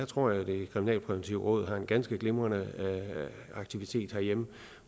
tror jeg det kriminalpræventive råd har en ganske glimrende aktivitet herhjemme